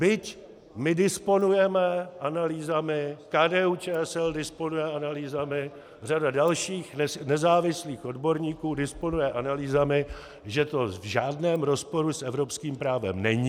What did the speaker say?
Byť my disponujeme analýzami, KDU-ČSL disponuje analýzami, řada dalších nezávislých odborníků disponuje analýzami, že to v žádném rozporu s evropským právem není...